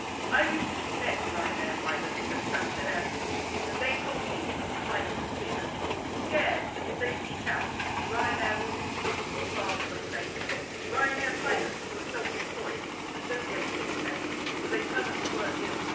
I recently met Ryanair pilots at Stansted Airport and they told me of a climate of fear, scared that if they speak out Ryanair will move them to a far flung base Ryanair pilots who are self employed and do not get sick pay, so they turn up to work ill.